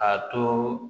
A to